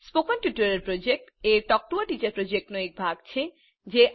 spoken tutorial project એ talk to a teacher પ્રોજેક્ટનો એક ભાગ છે